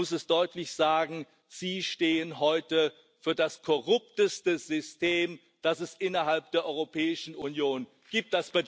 Man muss es deutlich sagen Sie stehen heute für das korrupteste System, das es innerhalb der Europäischen Union gibt.